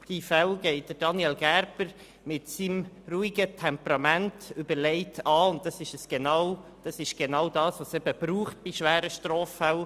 Diese Fälle geht Daniel Gerber mit seinem ruhigen Temperament überlegt an, und genau das braucht es bei schweren Straffällen.